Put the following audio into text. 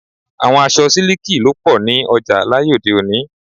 Àwọn aṣọ siliki ló pọ ní ọjà láyé òde-òní.